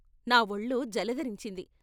నా వొళ్ళు జలదరించింది.